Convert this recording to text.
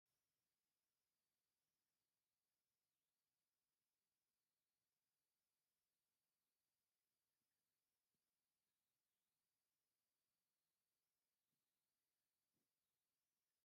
ባህላዊ ክዳን ትግራይ ዙርያ ጥልፊ ዘለዎ ተከዲና ኣብ ሶፋ ኮፍ ኢላ እንትከውን፣ ኣዶ መልክዓን ፀቢቃን ኮፍ ኢላ እንትርእያ ደስ እዩ ዝብለካ።